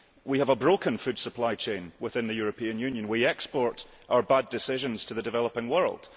We have a broken food supply chain within the European Union. We export our bad decisions to the developing world.